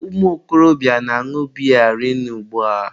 ụmụ okorobịa na-añụ biya rinne ugba.